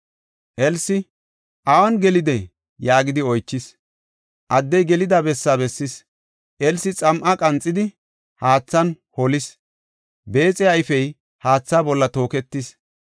Elsi, “Awun gelidee?” yaagidi oychis; addey gelida bessa bessis. Elsi xam7a qanxidi, haathan holis; beexiya ayfey haatha bolla tooketis.